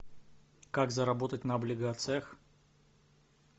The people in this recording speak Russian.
как заработать на облигациях